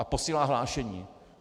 A posílá hlášení.